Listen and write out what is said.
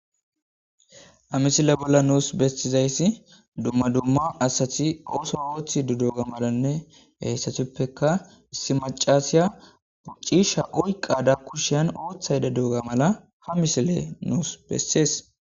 Haa misille bolla nusi betizayissi dumma dumma asati oththa oththidi diyogganne hessatuppekka issi macashshiya cishsha oyikkada kushshenni oththayidda diyogga mala haa missileyi nusi besees.